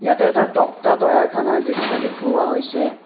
ইয়াতে এটা তক্তা তৈয়াৰ খানাৰ দৃশ্য দেখুওৱা হৈছে।